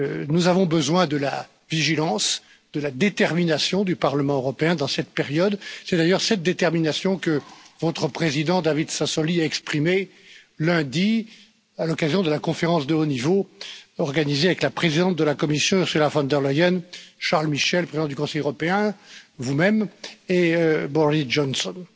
Nous avons besoin de la vigilance, de la détermination du Parlement européen dans cette période. C'est d'ailleurs cette détermination que votre président David Sassoli a exprimée lundi à l'occasion de la conférence de haut niveau organisée avec la présidente de la commission, Ursula von der Leyen, Charles Michel, le président du Conseil européen, vous même, et Boris Johnson.